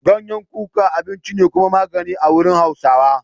Ganyen kuka abinci ne kuma magani a wurin Hausawa.